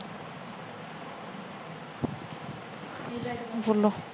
ਬੋਲੋ